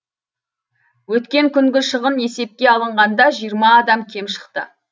өткен күнгі шығын есепке алынғанда жиырма адам кем шықты